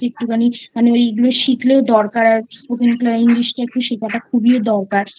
একটুখানি মানে ওই এগুলো শিখলেও দরকার আছে English টা একটু শেখাটা খুবই দরকার